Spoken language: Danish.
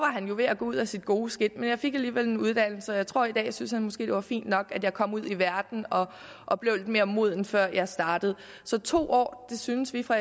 han jo ved at gå ud af sit gode skind men jeg fik alligevel en uddannelse og jeg tror i dag synes det var fint nok at jeg kom ud i verden og blev lidt mere moden før jeg startede så to år synes vi fra